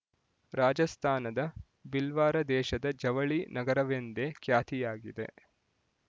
ರಾಜಸ್ತಾನದ ಬಿಲ್ವಾರ ದೇಶದ ಜವಳಿ ನಗರವೆಂದೇ ಖ್ಯಾತಿಯಾಗಿದೆ